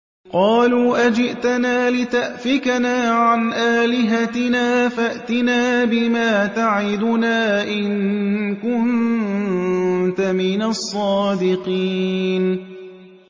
قَالُوا أَجِئْتَنَا لِتَأْفِكَنَا عَنْ آلِهَتِنَا فَأْتِنَا بِمَا تَعِدُنَا إِن كُنتَ مِنَ الصَّادِقِينَ